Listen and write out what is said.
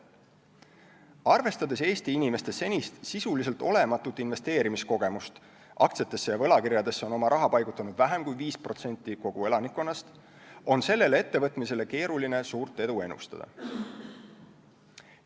Arvestades Eesti inimeste senist sisuliselt olematut investeerimiskogemust – aktsiatesse ja võlakirjadesse on oma raha paigutanud vähem kui 5% kogu elanikkonnast –, on sellele ettevõtmisele keeruline suurt edu ennustada.